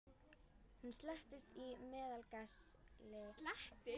Hún seilist í meðalaglas uppi í skáp.